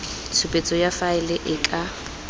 tshupetso ya faele e ka